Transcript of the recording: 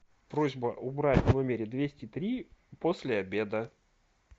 просьба убрать в номере двести три после обеда